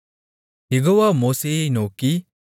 யெகோவா மோசேயை நோக்கி